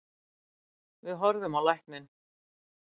Við horfðum á lækninn.